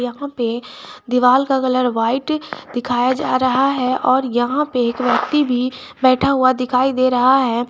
यहां पे दीवाल का कलर व्हाइट दिखाया जा रहा है और यहां पे एक व्यक्ति भी बैठा हुआ दिखाई दे रहा है।